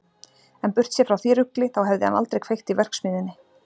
En burtséð frá því rugli, þá hefði hann aldrei kveikt í verksmiðjunni!